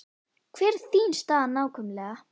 Hver er þín staða nákvæmlega?